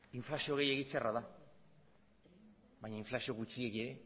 inflazio gehiegi txarra da baina inflazio gutxiegi